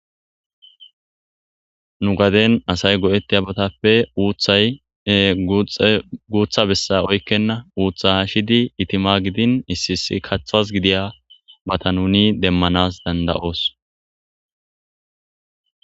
Nu gaden asay go'etiyabatape utay guta besa oyqena utha hashidi itima gidin issi issi kathas gidiya matan nuni demanas danda'os.